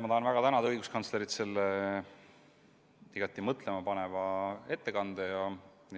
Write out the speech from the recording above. Ma tahan väga tänada õiguskantslerit selle igati mõtlemapaneva ettekande